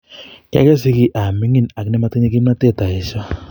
Kiogose ge amingin ag nemotinye kimnotet ayesho.